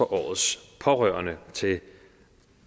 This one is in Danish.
årets pårørende til